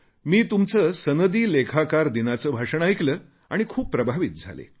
मी तुमचे सनदी लेखाकार दिनाचे भाषण ऐकले आणि खूप प्रभावित झाले